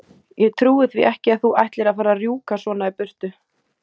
Ég trúi því ekki að þú ætlir að fara að rjúka svona í burtu!